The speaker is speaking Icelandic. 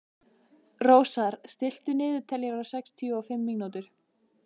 Rósar, stilltu niðurteljara á sextíu og fimm mínútur.